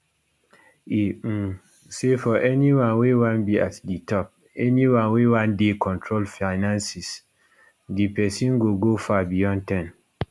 e um say for anyone wey wan be at di top anyone wey wan dey control finances di pesin go go far beyond 10